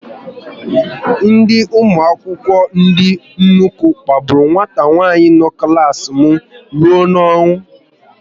Ndị ụmụ akwụkwọ ndị nnukwu kpagburu nwata nwanyị no n'klas m rụọ n'ọnwụ